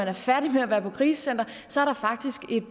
er færdige med at være på krisecenter faktisk